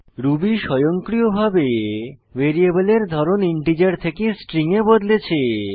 Ruby স্বয়ংক্রিয়ভাবে ভ্যারিয়েবলের ধরণ ইন্টিজার থেকে স্ট্রিং এ বদলেছে